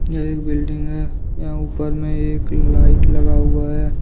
यह एक बिल्डिंग है यहाँ ऊपर में एक लाइट लगा हुआ है।